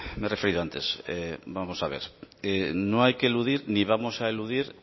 me he referido antes vamos a ver no hay que eludir ni vamos a eludir